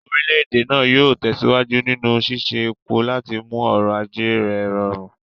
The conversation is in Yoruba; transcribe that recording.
Orílẹ̀-èdè náà yóò tẹ̀síwájú nínú ṣíṣe epo láti mú ọrọ̀ ajé rẹ̀ rọrùn.